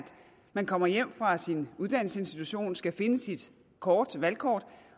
man kommer hjem fra sin uddannelsesinstitution og skal finde sit valgkort